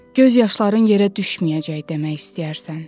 Göz yaşların yerə düşməyəcək demək istəyərsən.